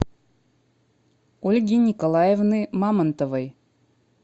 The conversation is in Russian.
ольги николаевны мамонтовой